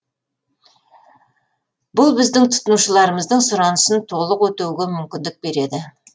бұл біздің тұтынушыларымыздың сұранысын толық өтеуге мүмкіндік береді